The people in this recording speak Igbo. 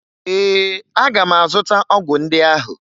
Ee, aga m azụta ọgwụ ndị ahụ